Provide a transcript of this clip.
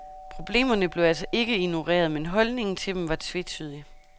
Problemerne blev altså ikke ignoreret, men holdningen til dem var tvetydig.